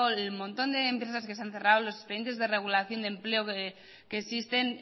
el montón de empresas que se han cerrado los expedientes de regulación de empleo que existen